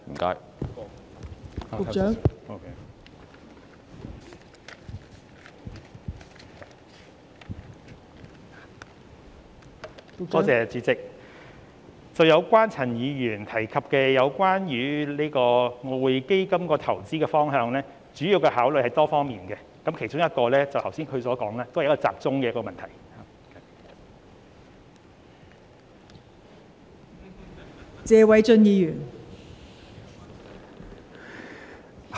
代理主席，就陳議員提及有關外匯基金投資的方向，主要的考慮是多方面的，其中一方面正是議員剛才說集中本地市場的問題。